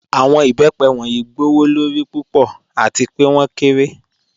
Awọn ibẹ́pẹ wọnyí gbowọ́lọ́rí púpọ̀ àti pẹ̀ wọn kẹ́rẹ̀.